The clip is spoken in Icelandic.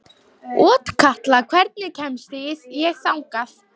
Otkatla, hvernig kemst ég þangað?